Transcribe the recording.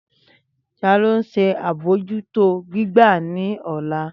Tani o nṣe abojuto gbigba ni ọla?